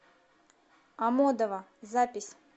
амодово запись